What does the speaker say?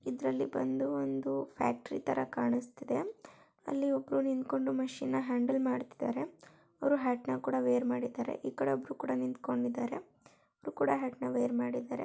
ಇದರಲ್ಲಿ ಬಂದು ಒಂದು ಫ್ಯಾಕ್ಟರಿ ತರ ಕಾಣಿಸ್ತಿದೆ ಅಲ್ಲಿ ಒಬ್ರು ನಿಂತ್ಕೊಂಡು ಮಷೀನ್ ನ ಹ್ಯಾಂಡಲ್ ಮಾಡ್ತಿದ್ದಾರೆ ಅವರು ಹ್ಯಾಟ್ ನ ಕೂಡ ವೇರ್ ಮಾಡಿದ್ದಾರೆ ಈ ಕಡೆ ಕೂಡ ಒಬ್ಬರು ನಿಂತ್ಕೊಂಡಿದ್ದಾರೆ ಇವರು ಕೂಡ ಹ್ಯಾಟ್ ನ ವೇರ್ ಮಾಡಿದ್ದಾರೆ.